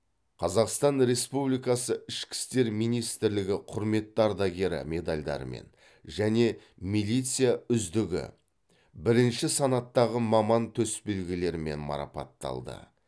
қазақстан республикасы ішкі істер министірлігі құрметті ардагері медальдарымен және милиция үздігі бірінші санаттағы маман төсбелгілерімен марапатталды